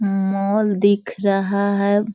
Mall दिख रहा है।